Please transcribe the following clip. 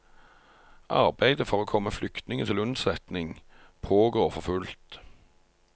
Arbeidet for å komme flyktningene til unnsetning pågår for fullt.